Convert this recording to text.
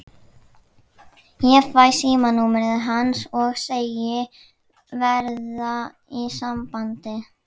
Ég fæ símanúmerið hans og segist verða í sambandi.